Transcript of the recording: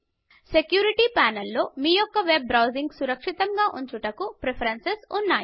security ప్యానెల్లో మీ యొక్క వెబ్ బ్రౌజింగ్ సురక్షితముగా ఉంచుటకు ప్రిఫరెన్సెస్ ఉన్నాయి